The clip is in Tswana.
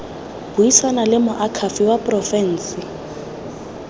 buisana le moakhaefe wa porofense